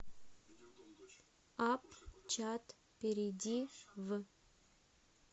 апп чат перейди в